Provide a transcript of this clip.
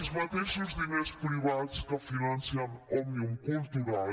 els mateixos diners privats que financen òmnium cultural